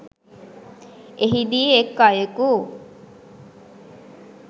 එහිදී එක් අයෙකු